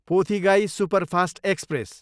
Pothigai superfast express